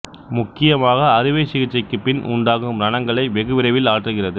முக்கியமாக அறுவை சிகிச்சைக்கு பின் உண்டாகும் ரணங்களை வெகுவிரைவில் ஆற்றுகிறது